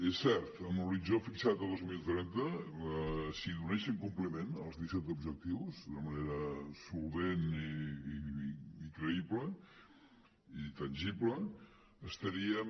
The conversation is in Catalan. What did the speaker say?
és cert amb l’horitzó fixat a dos mil trenta si donéssim compliment als disset objectius d’una manera solvent i creïble i tangible estaríem